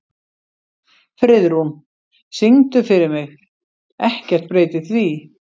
Friðrún, syngdu fyrir mig „Ekkert breytir því“.